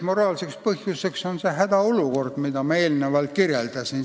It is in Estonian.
Moraalseks õigustuseks on see hädaolukord, mida ma eelnevalt kirjeldasin.